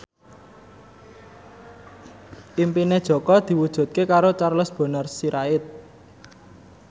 impine Jaka diwujudke karo Charles Bonar Sirait